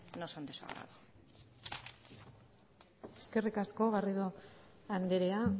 no son de su agrado eskerrik asko garrido andrea